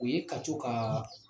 U ye ka t ka